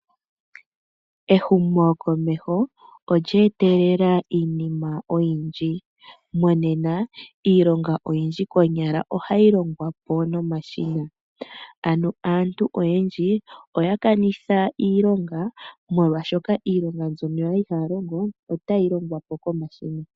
Ehumokomeho olye etelela iinima oyindji. Monena iilonga oyindji konyala ohayi longwa po nomashina. Ano aantu oyendji oya kanitha iilonga molwaashoka iilonga mbyoka kwali haya longo otayi longwa po komashina.